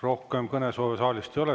Rohkem kõnesoove saalist ei ole.